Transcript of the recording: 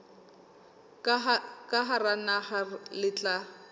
ka hara naha le tla